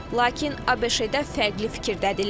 Lakin ABŞ-də fərqli fikirdədirlər.